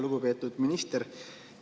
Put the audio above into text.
Lugupeetud minister!